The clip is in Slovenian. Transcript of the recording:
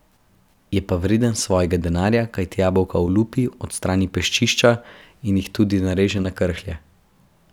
Je pa vreden svojega denarja, kajti jabolka olupi, odstrani peščišča in jih tudi nareže na krhlje.